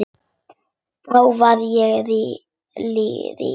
Þá verð ég rík.